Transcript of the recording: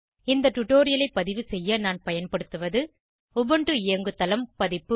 இந்த டுடோரியலை பதிவு செய்ய நான் பயன்படுத்துவது உபுண்டு இயங்குதளம் பதிப்பு